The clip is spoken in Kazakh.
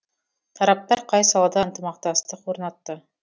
тараптар қай салада ынтымақтастық орнатты